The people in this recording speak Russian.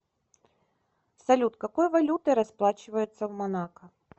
салют какой валютой расплачиваются в монако